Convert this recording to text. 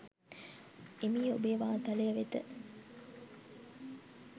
එමි ඔබේ වාතලය වෙත.